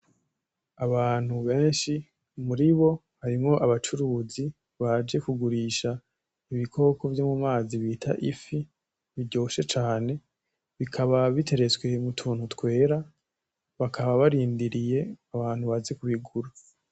Abantu benshi muribo harimwo abacuruzi baje kugurisha ibikoko vyo mu mazi bita ifi biryoshe cane, bikaba biteretswe mu tuntu twera, bakaba barindiriye abantu baze kubigura.